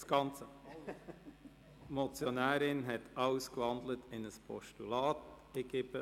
Die Motionärin hat den ganzen Vorstoss in ein Postulat gewandelt.